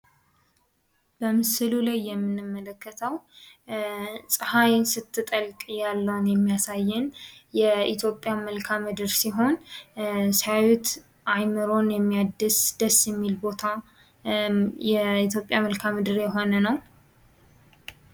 በምሥሉ ላይ የምንመለከተው ፀሐይን ስትጠልቅ ያለውን የሚያሳየን የኢትዮጵያ መልክዓ ምድር ሲሆን፤ ሲያዩት አእምሮን የሚያድስ ደስ የሚል ቦታ የኢትዮጵያ መልክዐ ምድር የሆነ ነው።